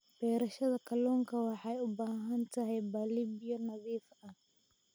Beerashada kalluunka waxay u baahan tahay balli biyo nadiif ah.